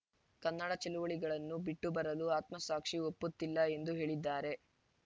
ಕನ್ನಡ ಚಳವಳಿಗಳನ್ನು ಬಿಟ್ಟು ಬರಲು ಆತ್ಮಸಾಕ್ಷಿ ಒಪ್ಪುತ್ತಿಲ್ಲ ಎಂದು ಹೇಳಿದ್ದಾರೆ